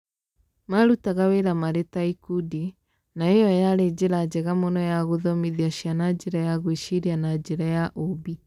Maarutaga wĩra marĩ ta ikundi, na ĩyo yarĩ njĩra njega mũno ya gũthomithia ciana njĩra ya gwĩciria na njĩra ya ũũmbi.